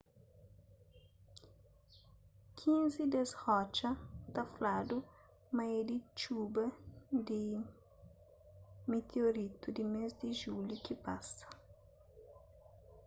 kinzi des rotxa ta fladu ma é di txuba di mitiorítu di mês di julhu ki pasa